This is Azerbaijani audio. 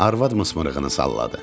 Arvad mısmırığını salladı.